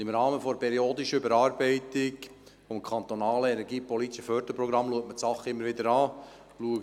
Im Rahmen der periodischen Überarbeitung des kantonalen energiepolitischen Förderprogramms wird das Thema immer wieder geprüft.